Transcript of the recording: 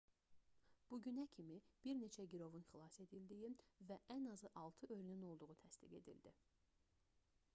bu günə kimi bir neçə girovun xilas edildiyi və ən azı 6 ölünün olduğu təsdiq edildi